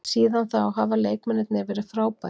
Síðan þá hafa leikmennirnir verið frábærir.